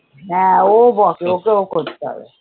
হ্যাঁ ও বকে, ওকেও করতে হবে।